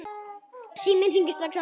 Hverjir voru þetta?